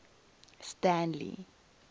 stanley